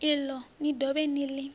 iḽo ni dovhe ni ḽi